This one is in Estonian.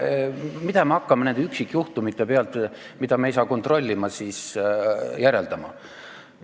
Kuidas me saame nende üksikjuhtumite pealt, mida me ei saa kontrollida, midagi järeldada?